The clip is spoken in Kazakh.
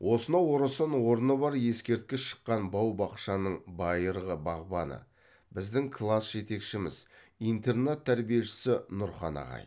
осынау орасан орны бар ескерткіш шыққан бау бақшаның байырғы бағбаны біздің класс жетекшіміз интернат тәрбиешісі нұрхан ағай